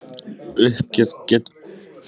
Uppgjöf getur tekið á sig ýmsar myndir.